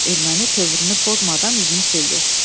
Erməni tövrünü pozmadan üzünü sildi.